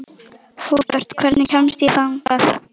Húbert, hvernig kemst ég þangað?